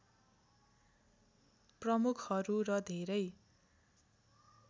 प्रमुखहरू र धेरै